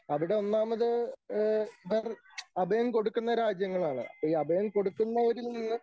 അവിടൊന്നാമത് ഏ പെർ അഭയം കൊടുക്കുന്ന രാജ്യങ്ങളാണ്. അപ്പൊ ഈ അഭയം കൊടുക്കുന്നോരിൽ നിന്ന്